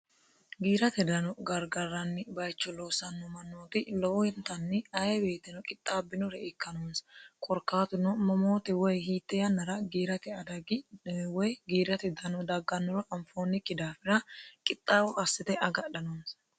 giirate dano gargarranni bayicho loosanno manooti lowo hintanni aye beetino qixxaabbinore ikkanoonsa korkaatuno momoote woy hiitte yannara giirate adagi woy giirate dano daggannoro anfoonnikki daafira qixxaawo hassite agadha noonisa